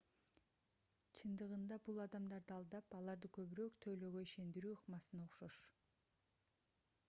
чындыгында бул адамдарды алдап аларды көбүрөөк төлөөгө ишендирүү ыкмасына окшош